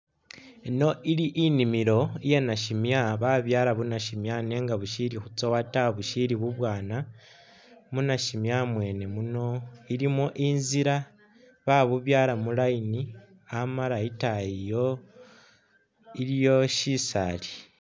Yino ili inimilo iya nashimya babyaala bu nashimya nenga bushili khutsowa ta bushili bubwana, mu nashimya mwene muno ilimo inzila babubyaala mu line amala itaayi iliyo shisaali.